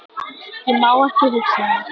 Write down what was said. Ég má ekki hugsa það.